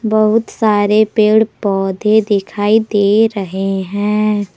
बहुत सारे पेड़ पौधे दिखाई दे रहे हैं।